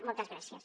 moltes gràcies